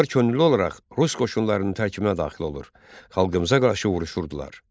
Onlar könüllü olaraq rus qoşunlarının tərkibinə daxil olur, xalqımıza qarşı vuruşurdular.